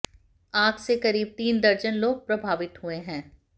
आग से करीब तीन दर्जन लोग प्रभावित हुए हैं